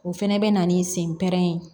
O fɛnɛ bɛ na ni sen pɛrɛn ye